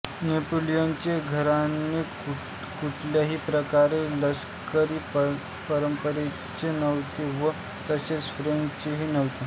नेपोलियनचे घराणे कुठल्याही प्रकारे लष्करी परंपरेचे नव्हते व तसेच फ्रेंचही नव्हते